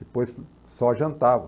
Depois só jantava.